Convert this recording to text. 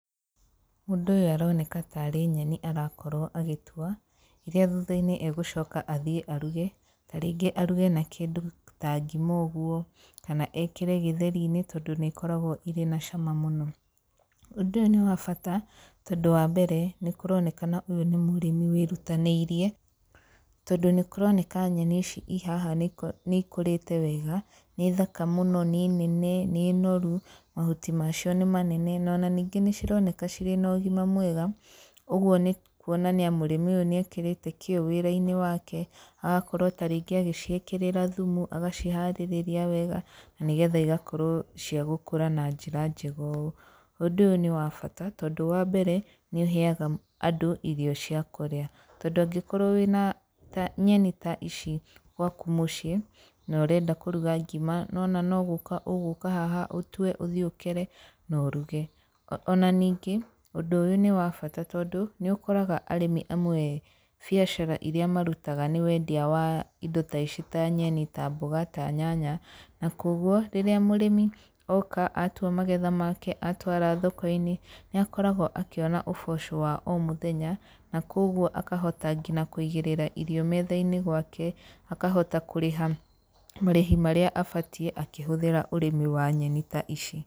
Mũndũ ũyũ aroneka tarĩ nyeni arakorwo agĩtua, rĩrĩa thuthainĩ agũcoka athiĩ aruge, ta rĩngĩ aruge na kĩndũ ta ngima ũguo, kana ekĩre gĩtheri-inĩ tondũ nĩ ikoragwo irĩ na cama mũno, ũndũ ũyũ nĩ wa bata, tondũ wa mbere nĩ kũronekana ũyũ nĩ mũrĩmi wĩrutanĩirie, tondũ nĩ kũroneka nyeni ici ciĩ haha nĩ ikũrĩte wega, nĩ thaka mũno, nĩ nene, nĩ noru, mahuti macio nĩ manene, ona ningĩ nĩ cironeka cirĩ na ũgima mwega, ũguo nĩ kuoania mũrĩmi ũyũ nĩ ekĩrĩte kĩyo wĩra-inĩ wake, agakorwo tarĩngĩ agĩciĩkĩrĩra thumu, agaciharĩrĩria wega, na nĩgetha igakorwo cia gũkũra na njĩra njega ũũ. Ũndũ ũyũ nĩ wa bata tondũ wambere nĩ ũheaga andũ irio cia kũrĩa, tondũ angĩkorwo wĩna ta nyeni ta ici gwaku mũciĩ na ũrenda kũruga ngima, nĩ wona no gũka ũgũka haha, ũtue, ũthiĩ ũkere na ũruge. Ona ningĩ, ũndũ ũyũ nĩ wa bata tondũ, nĩ ũkoraga arĩmi amwe biacara iria marutaga nĩ wendia wa indo ta ici ta nyeni, ta mboga, ta nyanya, na koguo rĩrĩa mũrĩmi oka, atua magetha make, atwara thoko-inĩ, nĩ akoragwo akĩona ũboco wa o mũthenya, na koguo akahota nginya kũigĩrĩra irio metha-inĩ gwake, akahota kũrĩha marĩhi marĩa abatie, akĩhũthĩra ũrĩmi wa nyeni ta ici.